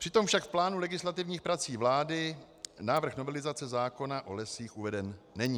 Přitom však v plánu legislativních prací vlády návrh novelizace zákona o lesích uveden není.